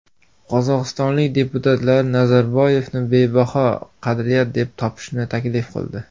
Qozog‘istonlik deputatlar Nazarboyevni bebaho qadriyat deb topishni taklif qildi.